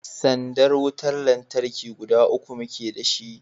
sandar wutar lantarki guda uku muke da shi